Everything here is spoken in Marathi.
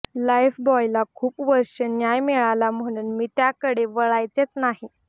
लाईफबॉयला खूप वर्षे न्याय मिळाला म्हणून मी त्याकडे वळायचेच नाही